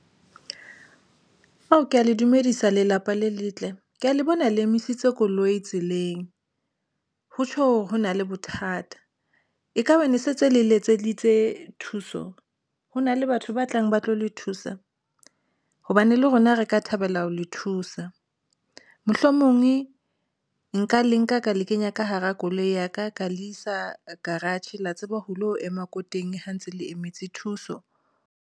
Ao, ke ya le dumedisa lelapa le letle ke ya le bona le emisitse koloi tseleng. Ho tjho, ho na le bothata ekaba ne se le letseditse thuso ho na le batho ba tlang ba tlo le thusa hobane le rona re ka thabela ho le thusa. Mohlomongwe nka le nka ka le kenya ka hara koloi ya ka, ka le isa garage la tseba ho lo ema ko teng ha ntse le emetse thuso.